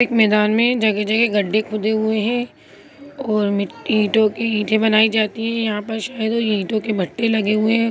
ground में जगह जगह गड्ढे खोदे हुए हैं और मिट्टी टोजो कि कैसे बनाई जाती है यहां पर शायद ईंटों के भट्टे लगे हुए हैं ।-